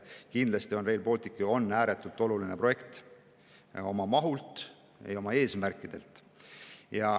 Kindlasti on Rail Baltic ääretult oluline projekt oma mahult ja oma eesmärkidelt.